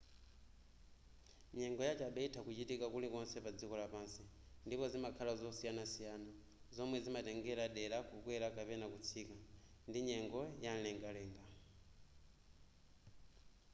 nyengo yachabe itha kuchitika kulikonse padziko lapansi ndipo zimakhala zosiyanasiyana zomwe zimatengera dera kukwera kapena kutsika ndi nyengo yamlengalenga